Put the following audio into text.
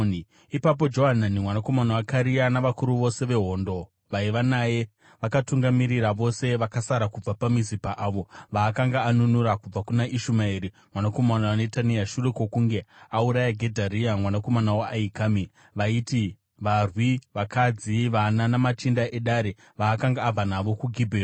Ipapo Johanani mwanakomana waKarea navakuru vose vehondo vaiva naye vakatungamirira vose vakasara kubva paMizipa avo vaakanga anunura kubva kuna Ishumaeri mwanakomana waNetania shure kwokunge auraya Gedharia mwanakomana waAhikami, vaiti: varwi, vakadzi, vana namachinda edare vaakanga abva navo kuGibheoni.